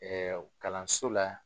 Ɛɛ kalanso la